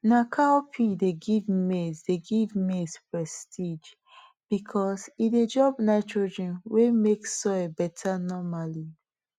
na cowpea dey give maize dey give maize prestige because e dey drop nitrogen wey make soil better normally